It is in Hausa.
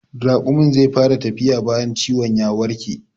Raƙumin zai fara tafiya bayan ciwon ya warke